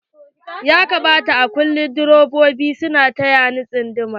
Ya kamata direbobi a kullum su na taya na tsunduma.